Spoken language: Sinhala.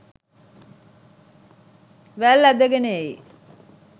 වැල් ඇදගෙන එයි.